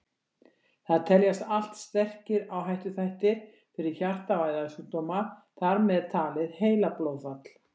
Þetta teljast allt sterkir áhættuþættir fyrir hjarta- og æðasjúkdóma, þar með talið heilablóðfall.